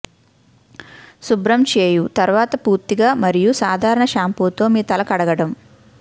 శుభ్రం చేయు తరువాత పూర్తిగా మరియు సాధారణ షాంపూ తో మీ తల కడగడం